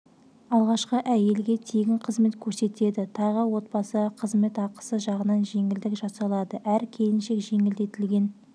алғашқы әйелге тегін қызмет көрсетеді тағы отбасыға қызмет ақысы жағынан жеңілдік жасалады әр келіншек жеңілдетілген